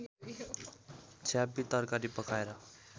छ्यापी तरकारी पकाएर